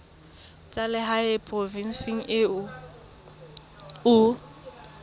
tsa lehae provinseng eo o